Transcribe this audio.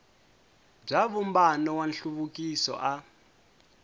bya vumbano wa nhluvukiso a